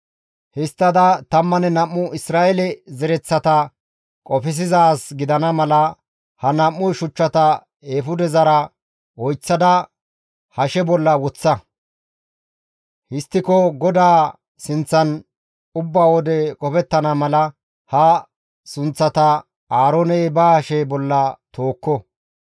Histtada tammanne nam7u Isra7eele zereththata qofsizaaz gidana mala ha nam7u shuchchata eefudezara oyththada hashe bolla woththa; histtiko GODAA sinththan ubba wode qofettana mala ha sunththata Aarooney ba hashe bolla tookko.